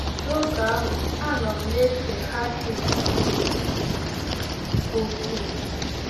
N’oge ahụ, anọ m na-ese hashish nke ukwuu.